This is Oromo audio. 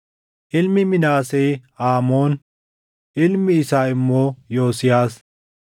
ilmi Minaasee Aamoon; ilmi isaa immoo Yosiyaas.